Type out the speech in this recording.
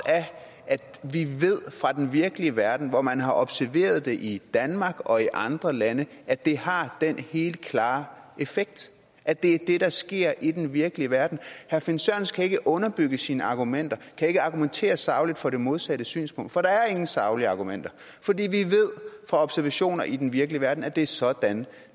af at vi ved fra den virkelige verden hvor man har observeret det i danmark og i andre lande at det har den helt klare effekt at det er det der sker i den virkelige verden herre finn sørensen kan ikke underbygge sine argumenter og kan ikke argumentere sagligt for det modsatte synspunkt for der er ingen saglige argumenter fordi vi ved fra observationer i den virkelige verden at det er sådan